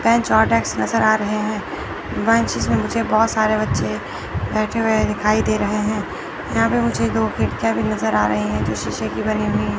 bench और desk नजर आ रहे हैं बेंचेज में बहोत सारे बच्चे बैठे हुए दिखाई दे रहे है यहां पे मुझे दो खिड़कियां भी नजर आ रही हैं जो शीशे की बनी हुई--